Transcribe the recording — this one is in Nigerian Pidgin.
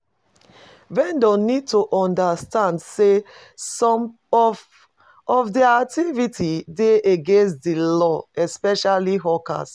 Vendors need to understand sey some of of their activites dey against di law especially hawkers